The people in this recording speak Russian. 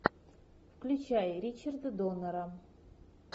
включай ричарда доннера